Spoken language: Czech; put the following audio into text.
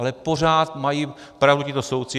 Ale pořád mají pravdu tito soudci.